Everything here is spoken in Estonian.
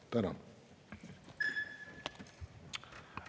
Tänan!